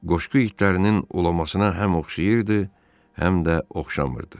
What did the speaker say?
Qoşqu itlərinin ulamasına həm oxşayırdı, həm də oxşamırdı.